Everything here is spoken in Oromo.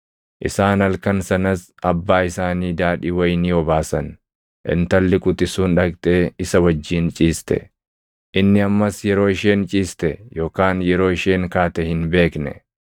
Isaan halkan sanas abbaa isaanii daadhii wayinii obaasan; intalli quxisuun dhaqxee isa wajjin ciiste. Inni ammas yeroo isheen ciiste yookaan yeroo isheen kaate hin beekne.